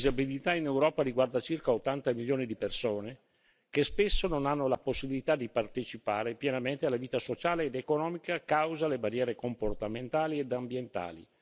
La disabilità in Europa riguarda circa 80 milioni di persone, che spesso non hanno la possibilità di partecipare pienamente alla vita sociale ed economica a causa delle barriere comportamentali ed ambientali.